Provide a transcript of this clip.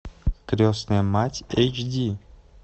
крестная мать эйч ди